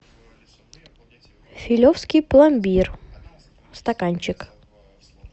филевский пломбир стаканчик